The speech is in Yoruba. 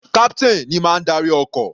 Captain ní má ń darí ọkọ̀.